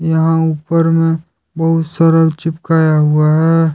यहाँ ऊपर में बहुत सारा चिपकाया हुआ है।